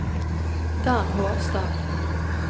Dan Hårstad